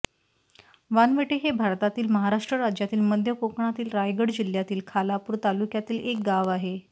वानवटे हे भारतातील महाराष्ट्र राज्यातील मध्य कोकणातील रायगड जिल्ह्यातील खालापूर तालुक्यातील एक गाव आहे